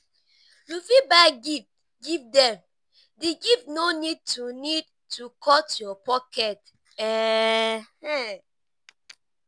you fit buy gift give them di gift no need to need to cut your pocket um